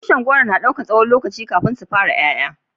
Tushin goro na dauki tsawon lokaci kafin su fara yaya.